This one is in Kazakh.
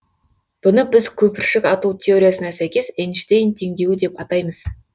бұны біз көпіршік ату теориясына сәйкес эйнштейн теңдеуі деп атаймыз